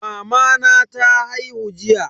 Mamana ta haihu jiya.